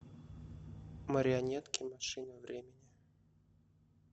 марионетки машина времени